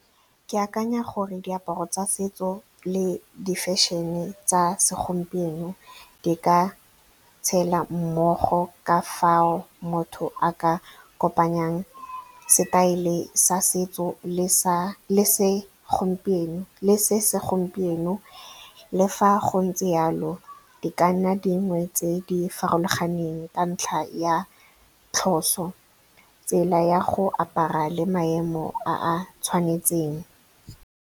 Ke akanya gore diaparo tsa setso le di-fashion-e tsa segompieno di ka tshela mmogo ka fao motho a ka kopanyang setaele sa setso le se se gompieno. Le fa go ntse jalo, di ka nna dingwe tse di farologaneng ka ntlha ya tlhoso, tsela ya go apara le maemo a tshwanetseng.